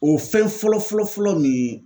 O fɛn fɔlɔ fɔlɔ fɔlɔ min